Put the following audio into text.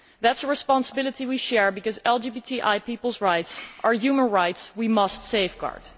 That is a responsibility we share, because LGBTI peoples' rights are human rights which we must safeguard.